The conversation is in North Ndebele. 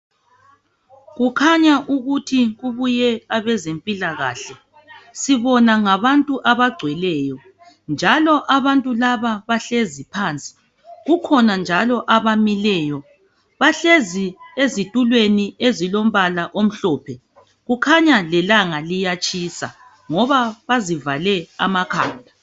Kukhanya ukuthi kubuye abezempilakahle sibona ngabantu abagcweleyo njalo abantu laba bahlezi phansi kukhona njalo abamileyo bahlezi ezitulweni ezilombala omhlophe kukhanya lelanga liyatshisa ngoba bazivale amakhanda.